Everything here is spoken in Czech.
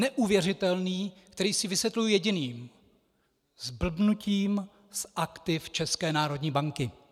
Neuvěřitelný, který si vysvětluji jediným: zblbnutím z aktiv České národní banky.